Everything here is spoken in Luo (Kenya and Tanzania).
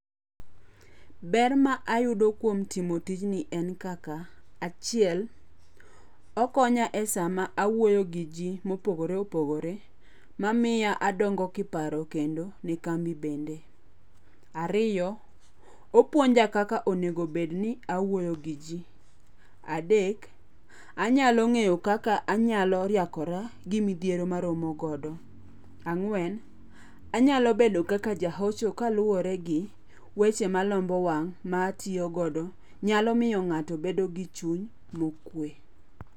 Ber ma ayudo kuom timo tijni en kaka: Achiel, okonya e sama awuoyo gi ji mopogore opogore mamiya adongo kiparo kendo ne lambi bende. Ariyo, opuonja kaka onego bedni awuoyo gi ji. Adek, anyalo ng'eyo kaka anyalo riakora gi midhiero ma aromo godo. Ang'uen, anyalo bedo kaka jahocho kaluwore gi weche malombo wang' ma atiyogodo nyalo miyo ng'ato bedo gi chuny mokue.